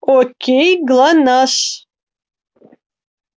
окей глонассс